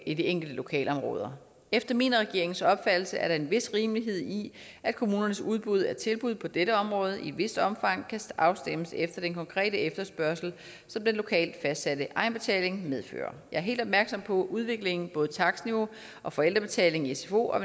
i de enkelte lokalområder efter min og regeringens opfattelse er der en vis rimelighed i at kommunernes udbud af tilbud på dette område i et vist omfang kan afstemmes efter den konkrete efterspørgsel som den lokalt fastsatte egenbetaling medfører jeg er helt opmærksom på udviklingen i både takstniveauet og forældrebetalingen i sfo og